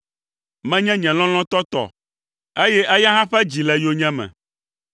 Menye nye lɔlɔ̃tɔ tɔ, eye eya hã ƒe dzi le yonyeme.